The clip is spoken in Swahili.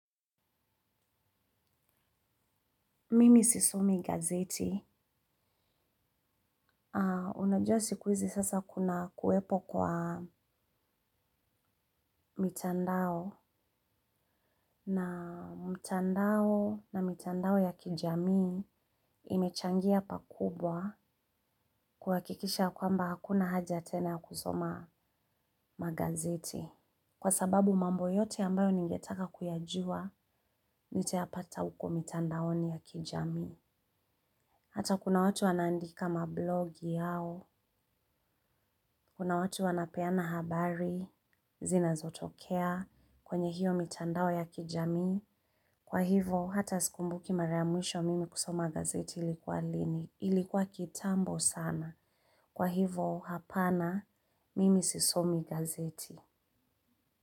Mimi sisomi gazeti. Ah, unajua siku hizi sasa kuna kuwepo kwa mitandao. Na mitandao na mitandao ya kijamii imechangia pakubwa kuwakikisha kwamba hakuna haja tena ya kusoma magazeti. Kwa sababu mambo yote ambayo ningetaka kuyajua, nitayapata huko mitandaoni ya kijami. Hata kuna watu wanaandika mablogi yao. Kuna watu wanapeana habari. Zinazotokea kwenye hiyo mitandao ya kijamii. Kwa hivo hata sikumbuki mara ya mwisho mimi kusoma gazeti ilikuwa lini ilikuwa kitambo sana kwa hivo hapana mimi sisomi gazeti.